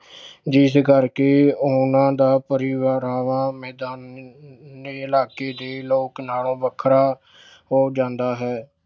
ਜਿਸ ਕਰਕੇ ਉਹਨਾਂ ਦਾ ਪਹਿਰਾਵਾ ਮੈਦਾਨੀ ਇਲਾਕੇ ਦੇ ਲੋਕ ਨਾਲੋਂ ਵੱਖਰਾ ਹੋ ਜਾਂਦਾ ਹੈ।